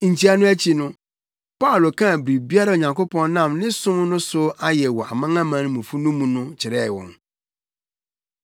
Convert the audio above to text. Nkyia no akyi no, Paulo kaa biribiara a Onyankopɔn nam ne som no so ayɛ wɔ amanamanmufo no mu no kyerɛɛ wɔn.